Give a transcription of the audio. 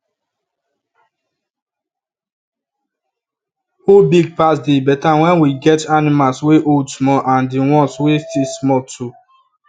who big pass they better when we get animals wey old small and the ones wey still small too